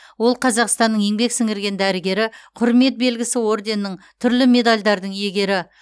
ол қазақстанның еңбек сіңірген дәрігері құрмет белгісі орденінің түрлі медальдардың иегері